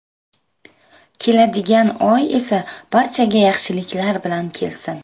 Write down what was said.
Keladigan oy esa barchaga yaxshiliklar bilan kelsin.